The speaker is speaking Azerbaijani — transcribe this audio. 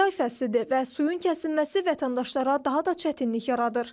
Yay fəslidir və suyun kəsilməsi vətəndaşlara daha da çətinlik yaradır.